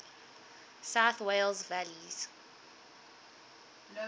south wales valleys